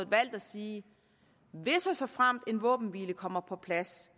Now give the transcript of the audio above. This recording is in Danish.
valgt at sige at hvis og såfremt en våbenhvile kommer på plads